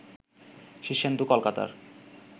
শীর্ষেন্দু কলকাতার